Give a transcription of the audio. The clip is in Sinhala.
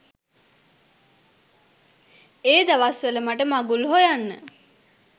ඒ දවස් වල මට මඟුල් හොයන්න